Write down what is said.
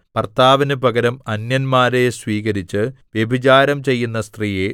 ഭർത്താവിനു പകരം അന്യന്മാരെ സ്വീകരിച്ച് വ്യഭിചാരം ചെയ്യുന്ന സ്ത്രീയേ